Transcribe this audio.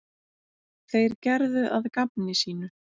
Þeir gerðu að gamni sínu.